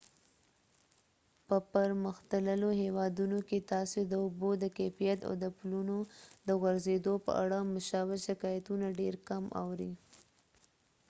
په پرمختللو هیوادونو کې تاسې د اوبو د کیفیت او د پلونو د غورځیدو په اړه مشابه شکایتونه ډیر کم اورئ